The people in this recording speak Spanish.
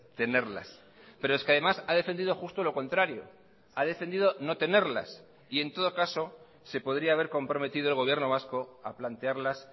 tenerlas pero es que además ha defendido justo lo contrario ha defendido no tenerlas y en todo caso se podría haber comprometido el gobierno vasco a plantearlas